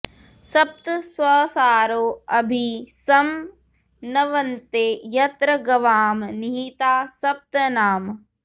सप्त स्वसारो अभि सं नवन्ते यत्र गवां निहिता सप्त नाम